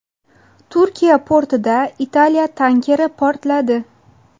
Turkiya portida Italiya tankeri portladi.